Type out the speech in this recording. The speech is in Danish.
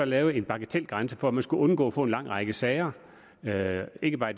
lavet en bagatelgrænse for at man skulle undgå at få en lang række sager sager ikke bare